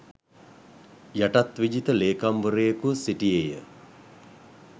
යටත්විජිත ලේකම්වරයෙකුව සිටියේය.